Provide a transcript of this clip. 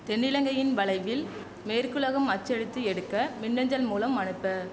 தென்னிலங்கையின் வலையில் மேற்குலகம் அச்சடித்து எடுக்க மின் அஞ்சல் மூலம் அனுப்ப